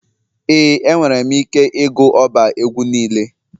Ee enwere m ike ịgụ ọba egwu niile.